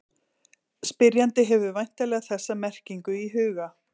Spyrjandi hefur væntanlega þessa merkingu í huga.